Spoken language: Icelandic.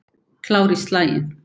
Klár í slaginn.